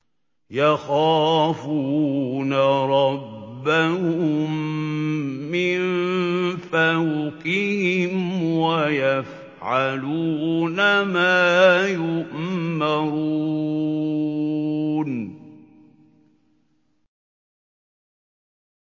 يَخَافُونَ رَبَّهُم مِّن فَوْقِهِمْ وَيَفْعَلُونَ مَا يُؤْمَرُونَ ۩